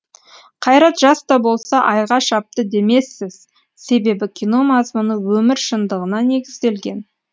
қайрат жас та болса айға шапты демессіз себебі кино мазмұны өмір шындығына негізделген